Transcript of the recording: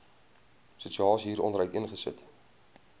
situasie hieronder uiteengesit